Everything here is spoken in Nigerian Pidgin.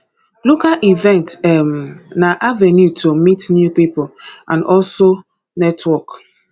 local events um na avenue to meet new pipo and also network